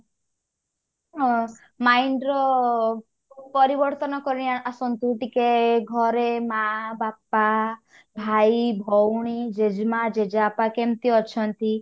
ଅ mind ର ପରିବର୍ତନ କରିଆସନ୍ତୁ ଟିକେ ଘରେ ମାଆ ବାପା ଭାଇ ଭଉଣୀ ଜେଜେମାଆ ଜେଜେବାପା କେମତି ଅଛନ୍ତି